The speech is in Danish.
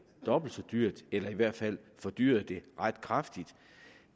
dobbelt så dyrt eller i hvert fald fordyret det ret kraftigt